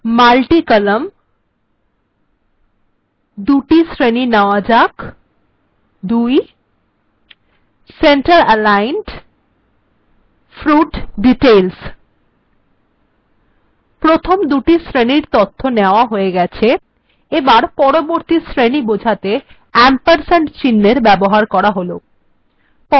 multicolumn ২ টি শ্রেণী নেয়া যাক২ centeraligned fruit details প্রথম দুটি শ্রেনীর তথ্য নেয়া হয়ে গেছে এখানে পরবর্তী শ্রেণী বোঝাতে ampersandচিন্হএর ব্যবহার করা হল